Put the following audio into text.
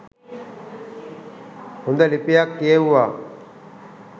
හොඳ ලිපියක් කියෙව්වා.